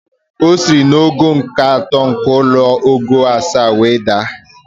O siri n'ogo nke atọ nke ụlọ ogo asaa were daa